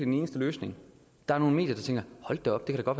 den eneste løsning der er nogle medier der tænker